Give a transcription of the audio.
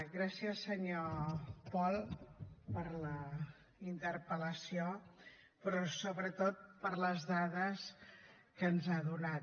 gràcies senyor pol per la interpel·lació però sobretot per les dades que ens ha donat